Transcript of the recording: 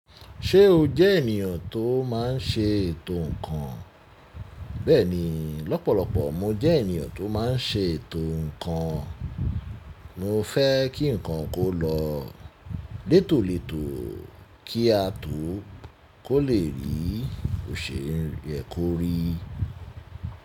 Ṣé o jẹ ènìyàn tó má n ṣe ètò ǹkan? Bẹẹni, lọ́pọ̀lọpọ̀ mo jẹ ènìyàn tó má n ṣe ètò ǹkan. Mo fẹ́ kí ǹkan kó lọ létòlétò kí a tó kó le rí òṣèyé korí.